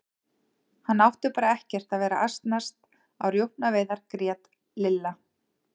Hann átti bara ekkert að vera að asnast á rjúpnaveiðar grét Lilla.